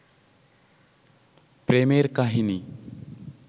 প্রেমের কাহিনী